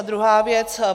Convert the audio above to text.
A druhá věc.